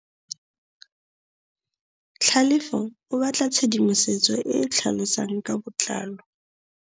Tlhalefô o batla tshedimosetsô e e tlhalosang ka botlalô.